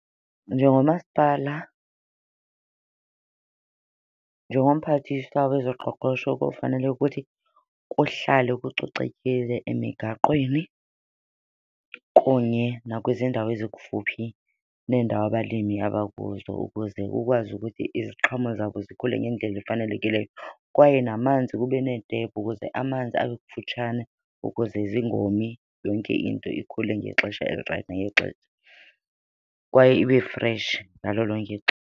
Njengomasipala, njengomphathiswa wezoqoqosho kofanele ukuthi kuhlale kucocekile emigaqweni kunye nakwizindawo ezikufuphi nendawo abalimi abakuzo ukuze kukwazi ukuthi iziqhamo zabo zikhule ngendlela efanelekileyo. Kwaye namanzi, kube neetephu ukuze amanzi abe kufutshane ukuze zingomi yonke into ikhule ngexesha elirayithi nangexesha kwaye ibe freshi ngalo lonke .